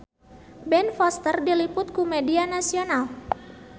Ben Foster diliput ku media nasional